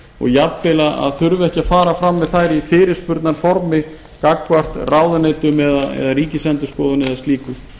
og jafnvel að þurfa ekki að fara fram með þær í fyrirspurnarformi gagnvart ráðuneytum ríkisendurskoðun eða slíku